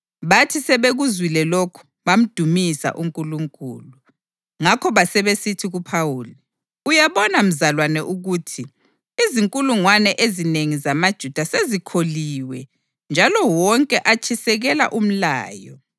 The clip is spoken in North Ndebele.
Bathi sebekuzwile lokhu bamdumisa uNkulunkulu. Ngakho basebesithi kuPhawuli, “Uyabona mzalwane ukuthi izinkulungwane ezinengi zamaJuda sezikholiwe njalo wonke atshisekela umlayo.